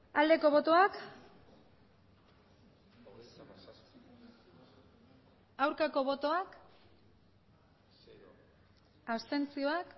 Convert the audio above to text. aldeko botoak aurkako botoak abstentzioak